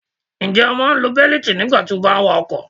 Ǹjẹ́ o máa ń lo bẹ́lítì nígbà tí o bá wa ọkọ̀?